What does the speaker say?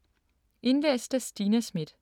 Indlæst af: